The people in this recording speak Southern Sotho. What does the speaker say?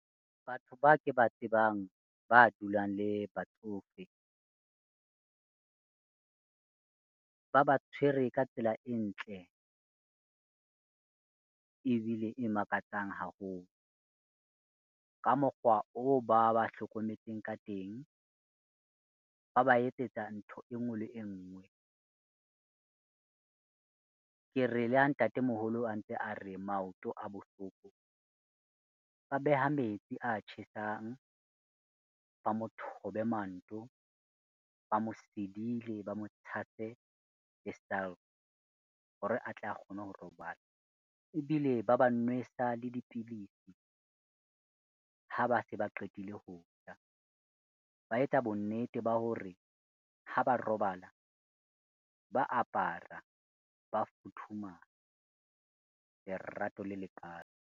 Batho ba ke ba tsebang ba dulang le batsofe, ba ba tshwere ka tsela e ntle ebile e makatsang haholo. Ka mokgwa oo ba ba hlokometseng ka teng, ba ba etsetsa ntho e ngwe le e ngwe. Ke re le ha ntatemoholo a ntse a re maoto a bohloko, ba beha metsi a tjhesang, ba mothobe manto, ba mosidile, ba motshase le hore atle a kgone ho robala ebile ba ba nwesa le dipidisi, ha ba se ba qetile ho ja, ba etsa bonnete ba hore ha ba robala ba apara, ba futhumala. Lerato le lekalo.